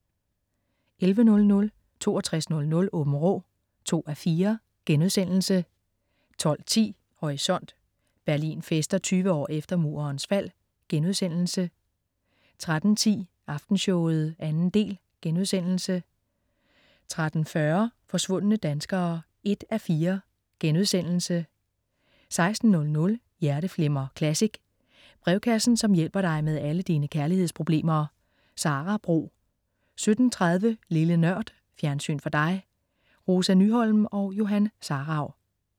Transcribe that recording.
11.00 6200 Aabenraa 2:4* 12.10 Horisont: Berlin fester 20 år efter Murens fald* 13.10 Aftenshowet 2. del* 13.40 Forsvundne danskere 1:4* 16.00 Hjerteflimmer Classic. Brevkassen som hjælper dig med alle dine kærlighedsproblemer. Sara Bro 17.30 Lille Nørd. Fjernsyn for dig. Rosa Nyholm og Johan Sarauw